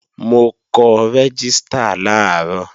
Mo kọ rẹ́gístà làárọ̀